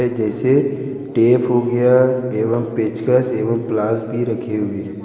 जैसे टेप हो गया एवं पेचकस एवं प्लास भी रखे हुए हैं।